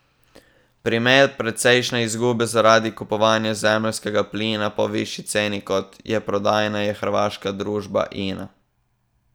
Primer precejšne izgube zaradi kupovanja zemeljskega plina po višji ceni kot je prodajna je hrvaška družba Ina.